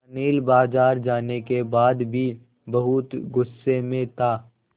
अनिल बाज़ार जाने के बाद भी बहुत गु़स्से में था